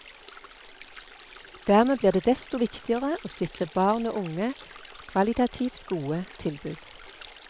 Dermed blir det desto viktigere å sikre barn og unge kvalitativt gode tilbud.